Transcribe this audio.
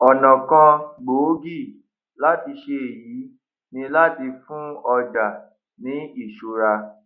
ònà kan gbòógì láti ṣe èyí ni láti fún ọjà ní ìṣúra